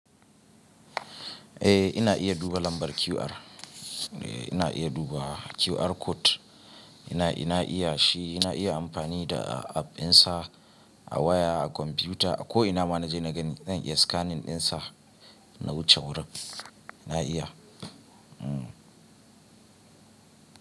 Eh ina iya duba lambar QR. Eh ina iya duba QR code. Ina, ina iya shi, ina iya amfani da app ɗinsa a waya, a kwamfuta a ko ina ma na je na gani zan iya scanning ɗinsa na wuce wurin. Na iya. Hmm.